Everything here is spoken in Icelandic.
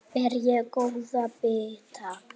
Ber ég góða bita.